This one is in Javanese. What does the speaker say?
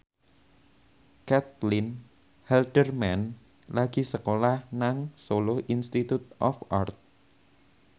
Caitlin Halderman lagi sekolah nang Solo Institute of Art